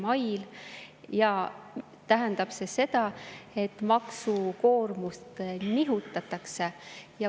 Kõik see tähendab seda, et maksukoormust nihutatakse.